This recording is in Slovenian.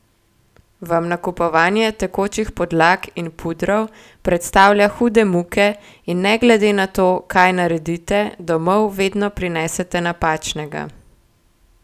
Vam nakupovanje tekočih podlag in pudrov predstavlja hude muke in ne glede na to kaj naredite, domov vedno prinesete napačnega?